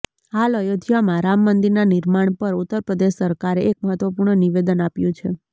હાલ અયોધ્યામાં રામ મંદિરના નિર્માણ પર ઉત્તર પ્રદેશ સરકારે એક મહત્વપૂર્ણ નિવેદન આપ્યું છે